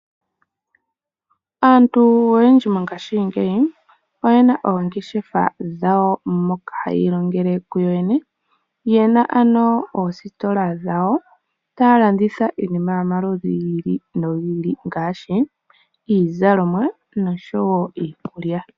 Aantu oyendji mongaashi ngeyi oyena oongeshefa dhawo moka hayi ilongele kuyoyene. Yena oositola dhawo taya landitha iinima yomaludhi gi ili nogi ili ngaashi iizalomwa niikulya.